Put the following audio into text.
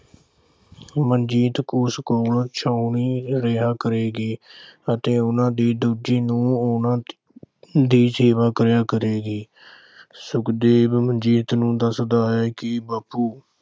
ਮਨਜੀਤ ਉਸ ਕੋਲ ਛਾਉਣੀ ਰਿਹਾ ਕਰੇਗੀ ਅਤੇ ਉਨ੍ਹਾਂ ਦੀ ਦੂਜੀ ਨੂੰਹ ਉਨ੍ਹਾਂ ਦੀ ਸੇਵਾ ਕਰਿਆ ਕਰੇਗੀ। ਸੁਖਦੇਵ ਮਨਜੀਤ ਨੂੰ ਦੱਸਦਾ ਹੈ ਕਿ ਬਾਪੂ